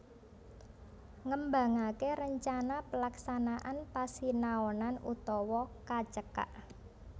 Ngembangaké Rencana Pelaksanaan Pasinaonan utawa kacekak